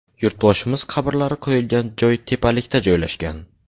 Yurtboshimiz qabrlari qo‘yilgan joy tepalikda joylashgan.